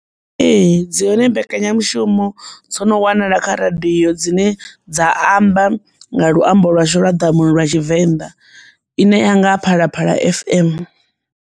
Ee, dzi hone mbekanyamushumo dzo no wanala kha radio dzine dza amba nga luambo lwashu lwa ḓamuni lwa tshivenḓa ine ya nga Phalaphala F_M.